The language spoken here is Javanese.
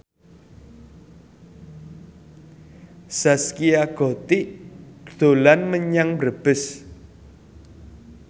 Zaskia Gotik dolan menyang Brebes